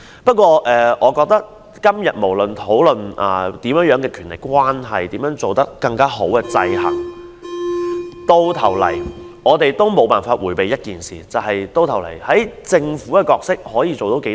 不過，我覺得今天我們怎樣討論甚麼權力關係，如何改善制衡制度等，到頭來我們都無法迴避一件事，就是政府究竟扮演甚麼角色？